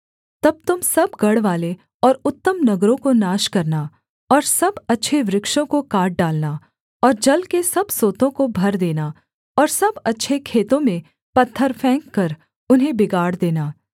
तब तुम सब गढ़वाले और उत्तम नगरों को नाश करना और सब अच्छे वृक्षों को काट डालना और जल के सब सोतों को भर देना और सब अच्छे खेतों में पत्थर फेंककर उन्हें बिगाड़ देना